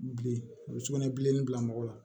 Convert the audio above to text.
Bilen u bɛ sugunɛbilennin bila mɔgɔ la